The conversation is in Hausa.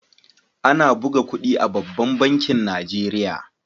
Ana buga kudi a babban bankin nigeria.